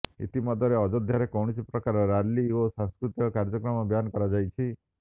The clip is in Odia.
ଇତିମଧ୍ୟରେ ଅଯୋଧ୍ୟାରେ କୌଣସି ପ୍ରକାର ରାଲି ଓ ସାଂସ୍କୃତିକ କାର୍ଯ୍ୟକ୍ରମ ବ୍ୟାନ୍ କରାଯାଇଛି